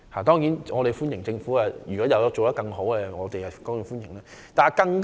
當然，如果政府可以做得更多，我們是歡迎的。